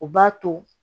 U b'a to